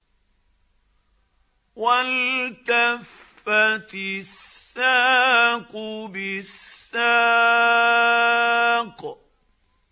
وَالْتَفَّتِ السَّاقُ بِالسَّاقِ